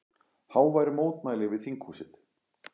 Hávær mótmæli við þinghúsið